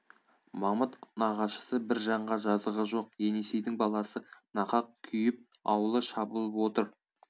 мамыт нағашысы бір жанға жазығы жоқ енесейдің баласы нақақ күйіп ауылы шабылып отыр